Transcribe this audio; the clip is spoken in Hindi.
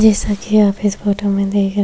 जैसा कि आप इस फोटो में देख रहे--